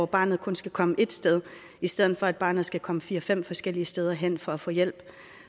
barnet kun skal komme ét sted i stedet for at barnet skal komme fire fem forskellige steder hen for at få hjælp